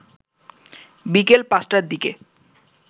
বিকাল ৫টার দিকে